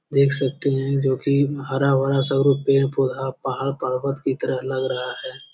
देख सकते हैं जो की हरा-भरा सगरो पेड़-पौधा पहाड़-पर्वत की तरह लग रहा है।